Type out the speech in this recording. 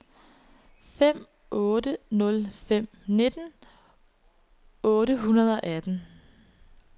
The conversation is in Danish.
fem otte nul fem nitten otte hundrede og atten